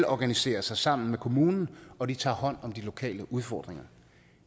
organiserer sig sammen med kommunen og tager hånd om de lokale udfordringer